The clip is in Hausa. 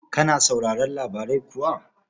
Kana sauraron labarai kuwa?